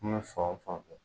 N'bɛ fan o fan fɛ.